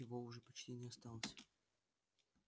его уже почти не осталось